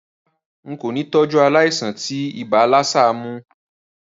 Rárá, n kò ni tọ́jú aláìsàn tí ibà lassa mó